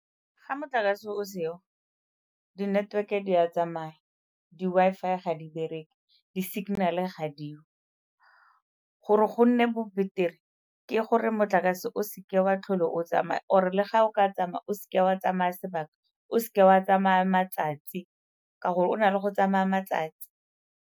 Ga motlakase o seo, di-network-e di a tsamaya, di-Wi-Fi ga di bereke, di-signal-e ga diyo. Gore go nne bo betere ke gore motlakase o seke wa tlhole o tsamaya or-e le ga o ka tsamaya o seke wa tsamaya sebaka, o seke wa tsamaya matsatsi ka gore o na le go tsamaya matsatsi.